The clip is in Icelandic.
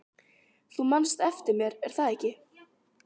Þú manst eftir mér, er það ekki?